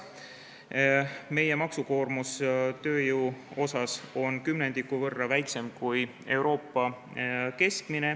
Meie tööjõu maksukoormus on kümnendiku võrra väiksem kui Euroopa keskmine.